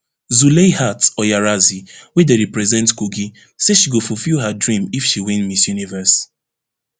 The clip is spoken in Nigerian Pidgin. zuleihat oyarazi wey dey represent kogi say she go fulfil her dream if she win miss universe